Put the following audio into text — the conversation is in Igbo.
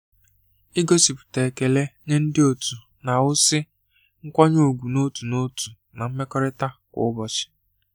Ịgosipụta ekele nye ndị otu na-ewusi nkwanye ùgwù n’otu n’otu na mmekọrịta kwa ụbọchị.